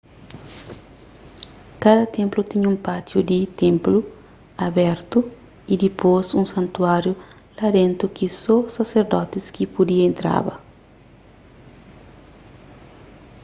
kada ténplu tinha un pátiu di ténplu abertu y dipôs un santuáriu la dentu ki só saserdotis ki pudia entraba